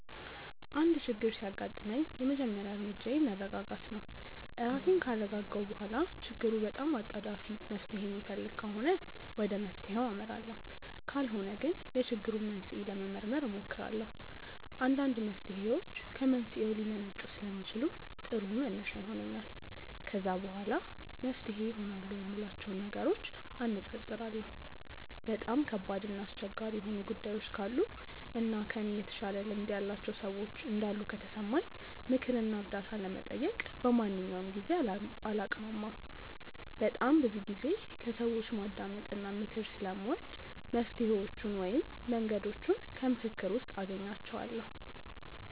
አንድ ችግር ሲያጋጥመኝ የመጀመሪያ እርምጃዬ መረጋጋት ነው። ራሴን ካረጋጋሁ በኋላ ችግሩ በጣም አጣዳፊ መፍትሔ የሚፈልግ ከሆነ ወደ መፍትሔው አመራለሁ ካልሆነ ግን የችግሩን መንስኤ ለመመርመር እሞክራለሁ። አንዳንድ መፍትሔዎች ከመንስኤው ሊመነጩ ስለሚችሉ ጥሩ መነሻ ይሆነኛል። ከዛ በኋላ መፍትሄ ይሆናሉ የምላቸውን ነገሮች አነፃፅራለሁ። በጣም ከባድ እና አስቸጋሪ የሆኑ ጉዳዮች ካሉ እና ከእኔ የተሻለ ልምድ ያላቸው ሰዎች እንዳሉ ከተሰማኝ ምክር እና እርዳታ ለመጠየቅ በማንኛውም ጊዜ አላቅማማም። በጣም ብዙ ጊዜ ከሰዎች ማዳመጥ እና ምክር ስለምወድ መፍትሔዎቹን ወይም መንገዶቹን ከምክክር ውስጥ አገኛቸዋለሁ።